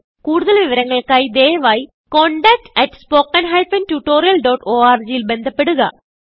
കുടുതൽ വിവരങ്ങൾക്കായി ദയവായിcontactspoken tutorialorg ൽ ബന്ധപ്പെടുക